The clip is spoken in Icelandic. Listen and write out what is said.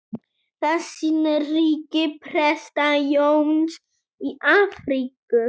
Það sýnir ríki Presta-Jóns í Afríku.